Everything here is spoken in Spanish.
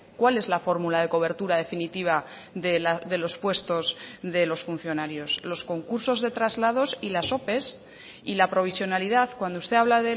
cuál es la fórmula de cobertura definitiva de los puestos de los funcionarios los concursos de traslados y las ope y la provisionalidad cuando usted habla